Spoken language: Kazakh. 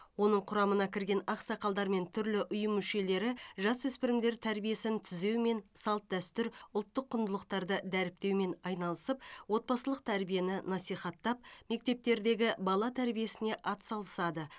оның құрамына кірген ақсақалдар мен түрлі ұйым мүшелері жасөспірімдер тәрбиесін түзеу мен салт дәстүр ұлттық құндылықтарды дәріптеумен айналысып отбасылық тәрбиені насихаттап мектептердегі бала тәрбиесіне атсалысады